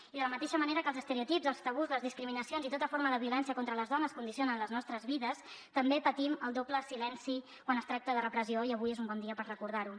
i de la mateixa manera que els estereotips els tabús les discriminacions i tota forma de violència contra les dones condicionen les nostres vides també patim el doble silenci quan es tracta de repressió i avui és un bon dia per recordar ho